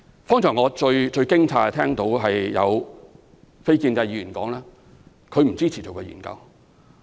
剛才我最驚訝的是聽到有非建制議員表示不支持進行研究。